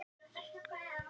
Líf, hvernig er veðrið úti?